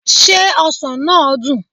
Ṣé ọsàn náà dùn?